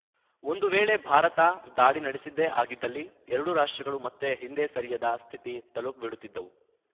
ಒಂದು ವೇಳೆ ಭಾರತ ದಾಳಿ ನಡೆಸಿದ್ದೇ ಆಗಿದ್ದಲ್ಲಿ ಎರಡೂ ರಾಷ್ಟ್ರಗಳು ಮತ್ತೆ ಹಿಂದೆ ಸರಿಯದ ಸ್ಥಿತಿ ತಲುಪಿಬಿಡುತ್ತಿದ್ದವು